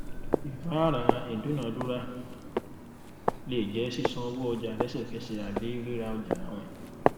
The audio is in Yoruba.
ìfáàrà ìdúnnàdúnrà lè jẹ sísan owó ọjà lẹsẹkẹsẹ àbí ríra ọjà àwìn